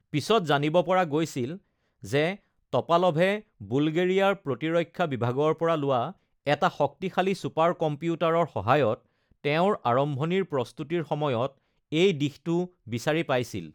পিছত জানিব পৰা গৈছিল যে টপালভে বুলগেৰিয়াৰ প্ৰতিৰক্ষা বিভাগৰ পৰা লোৱা এটা শক্তিশালী ছুপাৰ কম্পিউটাৰৰ সহায়ত তেওঁৰ আৰম্ভণিৰ প্ৰস্তুতিৰ সময়ত এই দিশটো বিচাৰি পাইছিল।